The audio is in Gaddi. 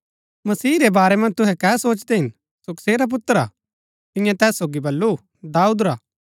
मसीह रै बारै मन्ज तुहै कै सोचदै हिन सो कसेरा पुत्र हा तिन्यै तैस सोगी बल्लू दाऊद रा